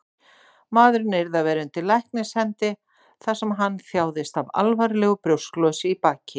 Maðurinn yrði að vera undir læknishendi, þar sem hann þjáðist af alvarlegu brjósklosi í baki.